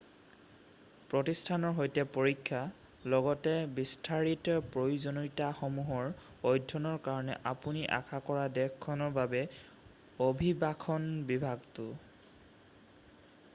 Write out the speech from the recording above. প্ৰতিষ্ঠানৰ সৈতে পৰীক্ষা লগতে বিস্তাৰিত প্ৰয়োজনীয়তাসমূহৰ অধ্যয়নৰ কাৰণে আপুনি আশা কৰা দেশখনৰ বাবে অভিবাসন বিভাগটো৷